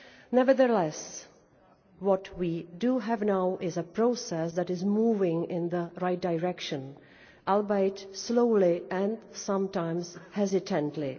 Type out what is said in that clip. Nevertheless, what we have now is a process that is moving in the right direction, albeit slowly and sometimes hesitantly.